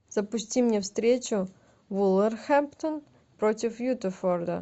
запусти мне встречу вулверхэмптон против уотфорда